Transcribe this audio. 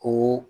Ko